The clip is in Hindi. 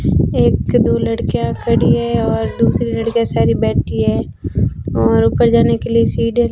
एक दो लड़कियां खड़ी है और दूसरी लड़कियां सारी बैठी है और ऊपर जाने के लिए सीढ़ियां --